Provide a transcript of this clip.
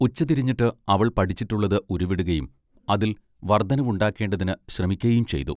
ഉച്ചതിരിഞ്ഞിട്ട് അവൾ പഠിച്ചിട്ടുള്ളത് ഉരുവിടുകയും അതിൽ വർദ്ധനവുണ്ടാക്കേണ്ടതിന് ശ്രമിക്കയും ചെയ്തു.